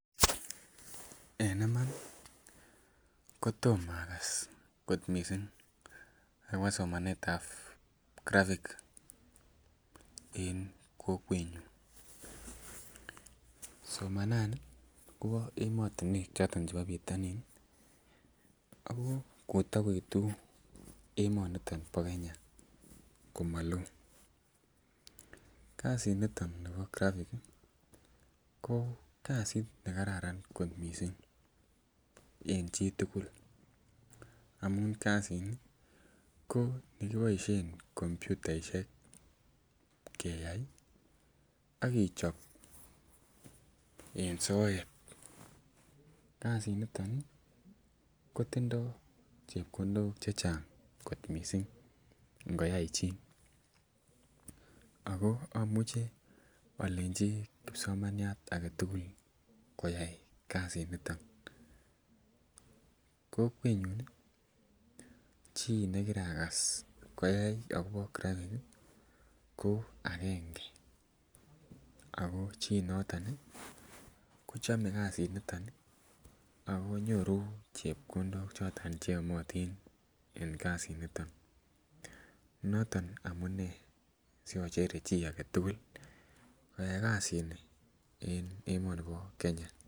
En iman kotom akas kot missing akobo somanet ab graphic en kokwetnyun, somanani kobo emotinwek choton chebo bitonin ih ako kotokoitu emoniton bo Kenya komoloo kasit niton nibo graphic ih ko kasit nekaran kot missing en chitugul amun kasit ni ko nekiboisien komputaishek keyai ak ichob en soet. Kasit niton kotindoo chepkondok chechang kot missing ngoyai chii ako amuche olenji kipsomaniat aketugul koyai kasit niton. Kokwetnyun ih chii nekiragas koyai akobo graphic ko agenge ako chi noton ih kochome kasit niton ih akonyoru chepkondok choton cheyomotin en kasit niton noton amunee siochere chi aketugul koyai kasit ni en emoni bo Kenya